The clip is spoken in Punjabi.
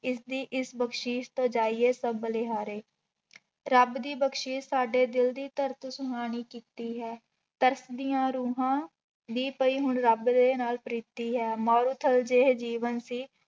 ਇਸਦੀ ਇਸ ਬਖ਼ਸੀਸ਼ ਤੋਂ ਜਾਈਏ ਸਭ ਬਲਿਹਾਰੇ ਰੱਬ ਦੀ ਬਖ਼ਸੀਸ ਸਾਡੇ ਦਿਲ ਦੀ ਧਰਤ ਸੁਹਾਣੀ ਕੀਤੀ ਹੈ, ਧਰਤ ਦੀ ਰੂਹਾਂ ਦੀ ਪਈ ਹੁਣ ਰੱਬ ਦੇ ਨਾਲ ਪ੍ਰੀਤੀ ਹੈ, ਮਾਰੂਥਲ ਜਿਹੇ ਜੀਵਨ ਸੀ